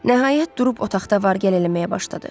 Nəhayət durub otaqda var-gəl eləməyə başladı.